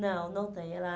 Não, não tem. Ela